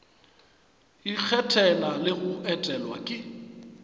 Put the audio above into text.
ikgethela le go etelwa ke